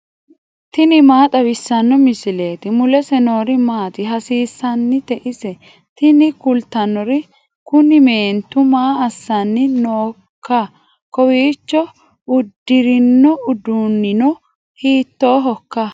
tini maa xawissanno misileeti ? mulese noori maati ? hiissinannite ise ? tini kultannori kuni meentu maa assanni nooIKKA KOWIICHO UDDIRINO UDUUNNINO HIITOOHOIKKA